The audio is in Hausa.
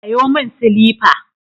Sayo min silifa.